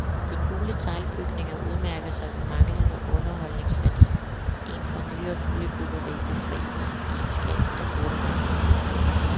De gule teglbygninger udmærker sig ved manglende underholdningsværdi, en for nyere boligbyggeri befriende egenskab, der burde være mere udbredt.